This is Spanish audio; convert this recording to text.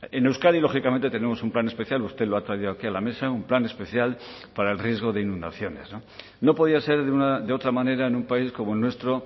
en euskadi lógicamente tenemos un plan especial usted lo ha traído aquí a la mesa un plan especial para el riesgo de inundaciones no podía ser de otra manera en un país como el nuestro